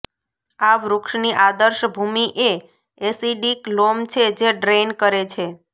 આ વૃક્ષની આદર્શ ભૂમિ એ એસિડિક લોમ છે જે ડ્રેઇન કરે છે